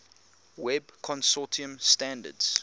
web consortium standards